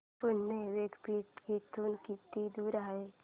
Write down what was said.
पुणे विद्यापीठ इथून किती दूर आहे